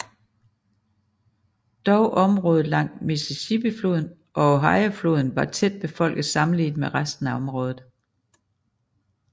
Dog området langs Mississippifloden og Ohiofloden var tætbefolket sammenlignet med resten af området